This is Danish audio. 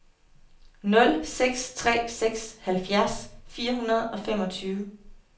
nul seks tre seks halvfjerds fire hundrede og femogtyve